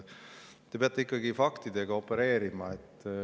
Te peate ikkagi faktidega opereerima.